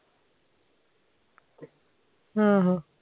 ਆਹੋ